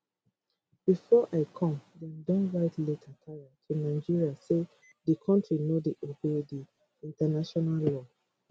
bifor i come dem don write letter tire to nigeria say di kontri no dey obey di international law